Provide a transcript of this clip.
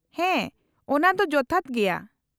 -ᱦᱮᱸ, ᱚᱱᱟ ᱫᱚ ᱡᱚᱛᱷᱟᱛ ᱜᱮᱭᱟ ᱾